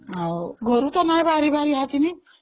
ଘରୁ ତ ବହରିବାର ନାଇଁ, କେମିତି ଯିବି